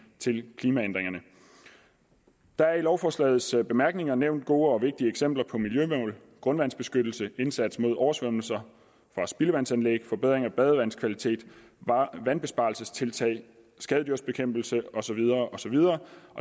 til klimaændringerne der er i lovforslagets bemærkninger nævnt gode og vigtige eksempler på miljømål grundvandsbeskyttelse indsats mod oversvømmelser fra spildevandsanlæg forbedring af badevandskvaliteten vandbesparelsestiltag skadedyrsbekæmpelse osv og så videre